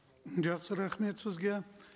м жақсы рахмет сізге